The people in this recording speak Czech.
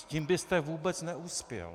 S tím byste vůbec neuspěl.